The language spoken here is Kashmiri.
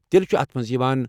تیٚلہ چھُ اتھ منٛز یوان۔